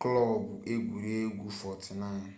klọb egwuregwu 49